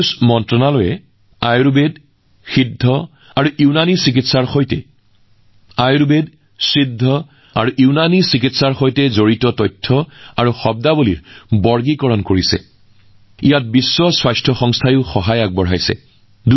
আয়ুষ মন্ত্ৰালয়ে বিশ্ব স্বাস্থ্য সংস্থাৰ সহায়ত আয়ুৰ্বেদ সিদ্ধ আৰু ইউনানী চিকিৎসাৰ সৈতে জড়িত তথ্য আৰু পৰিভাষাক শ্ৰেণীভুক্ত কৰিছে